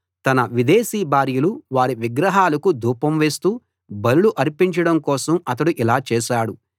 తన విదేశీ భార్యలు వారి విగ్రహాలకు ధూపం వేస్తూ బలులు అర్పించడం కోసం అతడు ఇలా చేశాడు